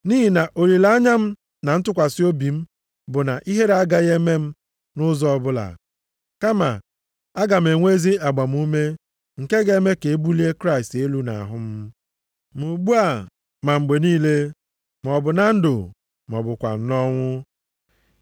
Nʼihi na olileanya m na ntụkwasị obi m bụ na ihere agaghị eme m nʼụzọ ọbụla, kama, aga m enwe ezi agbamume nke ga-eme ka e bulie Kraịst elu nʼahụ m, ma ugbu a ma mgbe niile, maọbụ na ndụ, ma ọ bụkwanụ nʼọnwụ.